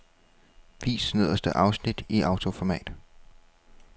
Vis nederste afsnit i autoformat.